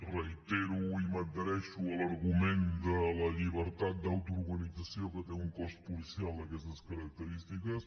reitero i m’adhereixo a l’argument de la llibertat d’autoorganització que té un cos policial d’aquestes característiques